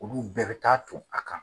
Olu bɛɛ bɛ taa to a kan.